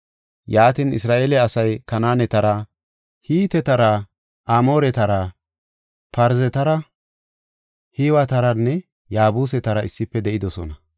Yaatin, Isra7eele asay Kanaanetara, Hitetara, Amooretara, Parzetara, Hiwetaranne Yaabusetara issife de7idosona.